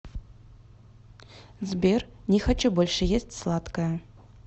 сбер не хочу больше есть сладкое